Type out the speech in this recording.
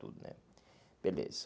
tudo né. Beleza.